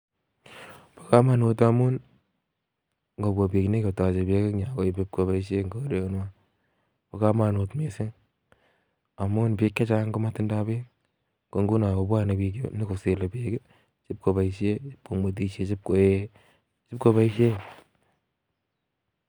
Komonut ngamun ingobwa biik nyon kotoche beek en yu ipkoboishien en korenywan bo komonuut missing amun biik chechang komotindo beek, nyon kosile beek sikoib koboishien, komwetishien ak koyee